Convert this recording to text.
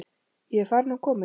Ég er farin og komin.